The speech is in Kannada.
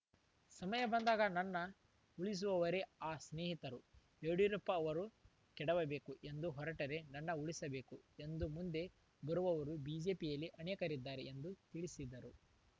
ಸಮಯ ಬಂದಾಗ ನನ್ನ ಉಳಿಸುವವರೇ ಆ ಸ್ನೇಹಿತರು ಯಡಿಯೂರಪ್ಪ ಅವರು ಕೆಡವಬೇಕು ಎಂದು ಹೊರಟರೆ ನನ್ನ ಉಳಿಸಬೇಕು ಎಂದು ಮುಂದೆ ಬರುವವರು ಬಿಜೆಪಿಯಲ್ಲಿ ಅನೇಕರಿದ್ದಾರೆ ಎಂದು ತಿಳಿಸಿದ್ದರು